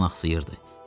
Tarzan axsayırdı.